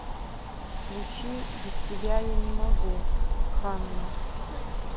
включи без тебя я не могу ханна